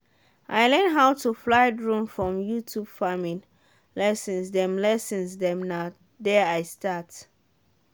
i learn how to fly drone from youtube farming lessons dem lessons dem na there i start.